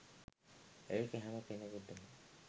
ඒක හැම කෙනෙකුටම